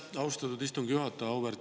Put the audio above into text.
Aitäh, austatud istungi juhataja!